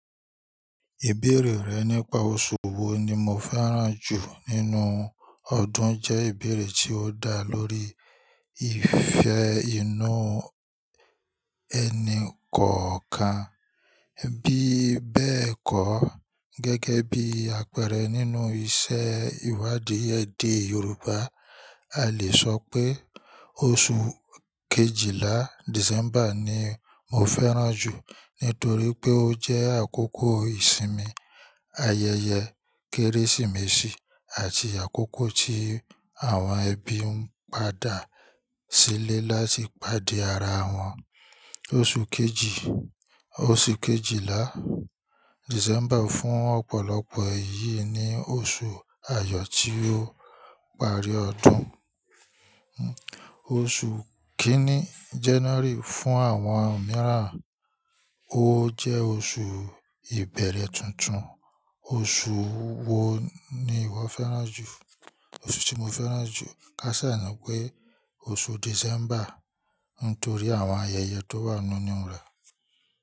Ìbéèrè rẹ nípa oṣù wo ni mo fẹ́ràn jù nínú ọdún jẹ́ ìbéèrè tí ó dá lórí ìfẹ́ inú ẹni kọ̀ọ̀kan. Bí bẹ́ẹ̀ kọ́, gẹ́gẹ́ bí àpẹẹrẹ nínú ìṣe ìwádìí ẹ̀dẹ̀ Yorùbá, a lè sọ pé oṣù kejìlá, December, ni mo fẹ́ràn jù nítorí pé ó jẹ́ àkókò ìsinmi, ayẹyẹ Kérésìmesì, àti àkókò tí àwọn ẹbí ń padà sílé láti pàdé ara wọn. Oṣù kejì, oṣù kejìlá, December, fún ọ̀pọ̀lọpọ̀ èyí ni oṣù àyọ̀ tí ó parí ọdún. Oṣù kìíní, January, fún àwọn mìíràn, ó jẹ́ oṣù ìbẹ̀rẹ̀ tuntun. Oṣù wo ni ìwọ fẹ́ràn jù? Oṣù tí mo fẹ́ràn jù ká saa ni pé oṣù December nítorí àwọn ayẹyẹ tó wà nínú rẹ̀.